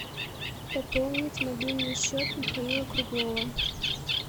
пополнить мобильный счет михаила круглова